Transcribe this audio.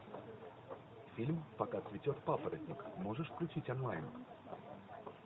фильм пока цветет папоротник можешь включить онлайн